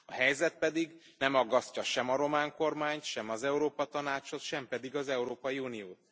A helyzet pedig nem aggasztja sem a román kormányt, sem az Európa Tanácsot, sem pedig az Európai Uniót.